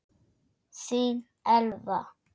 Þín Elfa.